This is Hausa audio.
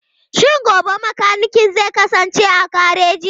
Shin gobe mekanikin zai kasance a gareji?